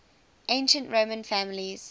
ancient roman families